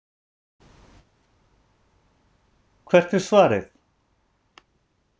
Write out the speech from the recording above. Hvert er svarið?